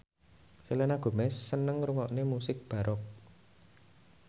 Selena Gomez seneng ngrungokne musik baroque